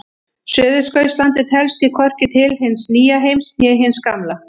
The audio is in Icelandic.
Suðurskautslandið telst því hvorki til hins nýja heims né hins gamla.